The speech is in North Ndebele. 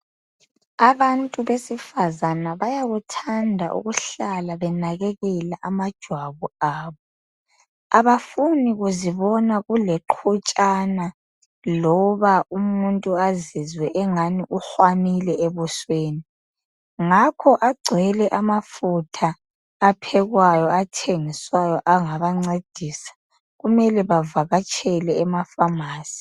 Abantu besifazana bayakuthanda ukuhlala benakekela amajwabu abo. Abafuni kuzibona kuleqhutshana loba umuntu azizwe engani uhwamile ebusweni. Ngakho agcwele amafutha aphekwayo athengiswayo angabancedisa. Kumele bavakatshele emafamasi.